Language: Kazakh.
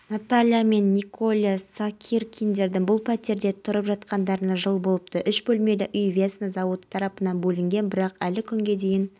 мамандар даярлаумен қатар көмірсутегін барлау оны өндіру ісінде қолданылатын технологияларда жетілдіруді қажет етеді энидің бұл бойынша мыңға жуық патетенті мен лицензиясы